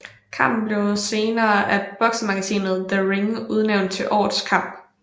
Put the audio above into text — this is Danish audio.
Kampen blev senere af boksemagasinet The Ring udnævnt til Årets kamp